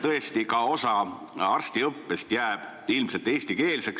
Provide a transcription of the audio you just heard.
Tõesti, osa arstiõppest jääb ilmselt eestikeelseks.